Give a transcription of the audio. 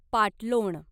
पाटलोण